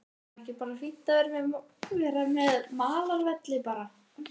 Er þá ekki bara fínt að vera með malarvelli bara?